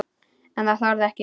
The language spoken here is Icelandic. En hann þorði það ekki.